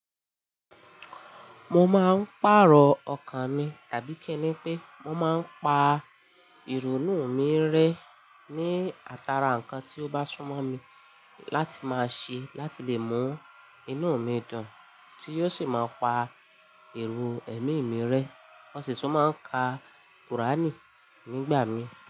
Mo máa ń pàrọ̀ ọkàn mi tàbí kíni pé mo máa ń pa ìrònú mi rẹ́ ní atara nǹkan tí ó bá súmọ̀ mi láti máa ṣe láti lè mọ inú mi dùn, tí yóò sì máa pa èrò ẹ̀mí mi rẹ́. Mo sì ti máa ń ka Qùránì nígbà mí.